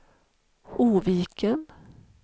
Oviken